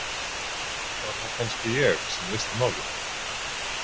Var það kannski ég sem leysti málið?